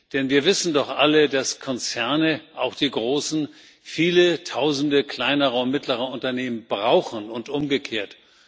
Denn wir wissen doch alle, dass Konzerne auch die großen viele Tausende kleinerer und mittlerer Unternehmen brauchen und umgekehrt.